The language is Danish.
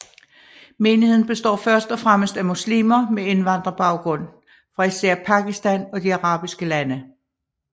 Menigheden består først og fremmest af muslimer med indvandrerbaggrund fra især Pakistan og de arabiske lande